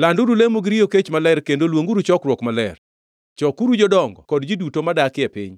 Landuru lemo gi riyo kech maler kendo luonguru chokruok maler. Chokuru jodongo kod ji duto modakie piny,